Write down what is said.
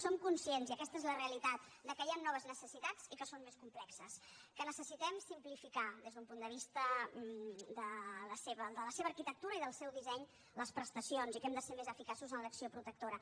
som conscients i aquesta és la realitat que hi han noves necessitats i que són més complexes que necessitem simplificar des d’un punt de vista de la seva arquitectura i del seu disseny les prestacions i que hem de ser més eficaços en l’acció protectora